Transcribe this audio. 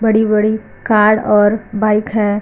बड़ी वड़ी कार और बाइक है।